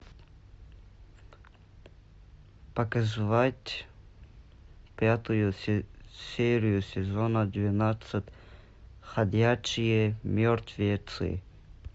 показать пятую серию сезона двенадцать ходячие мертвецы